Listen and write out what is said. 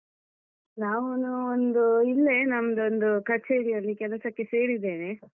ನಾನು ಒಂದು ಇಲ್ಲೇ, ನಮ್ದೊಂದು ಕಛೇರಿಯಲ್ಲಿ ಕೆಲಸಕ್ಕೆ ಸೇರಿದ್ದೇನೆ.